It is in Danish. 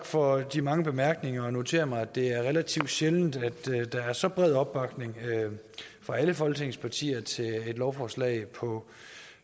for de mange bemærkninger og notere mig at det er relativt sjældent at der er så bred opbakning fra alle folketingets partier til et lovforslag på